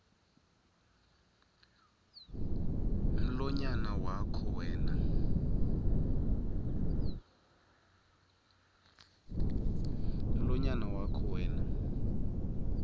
mlonyana wakho wena